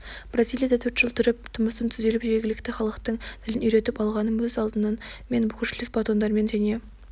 бразилияда төрт жыл тұрып тұрмысым түзеліп жергілікті халықтың тілін үйреніп алғаным өз алдына мен көршілес плантаторлармен және